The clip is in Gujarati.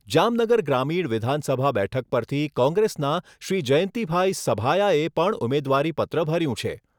જામનગર ગ્રામીણ વિધાનસભા બેઠક પરથી કોંગ્રેસના શ્રી જયંતિભાઈ સભાયાએ પણ ઉમેદવારીપત્ર ભર્યું છે.